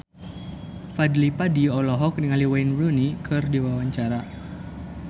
Fadly Padi olohok ningali Wayne Rooney keur diwawancara